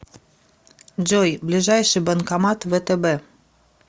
джой ближайший банкомат втб